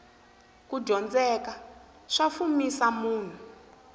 kudyondzeka swa fumisa munhu